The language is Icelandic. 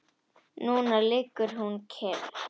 Núna liggur hún kyrr.